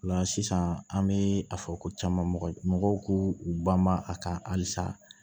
O la sisan an bɛ a fɔ ko caman mɔgɔw k'u banba a kan halisa